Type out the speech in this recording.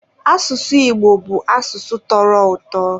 asụsụ Igbo bụ asụsụ tọrọ ụtọ.